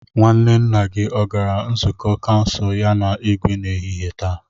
Nwanne nna gi o gara nzukọ kansụl ya na Igwe n'ehihie taa?